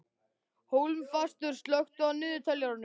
Hólmfastur, slökktu á niðurteljaranum.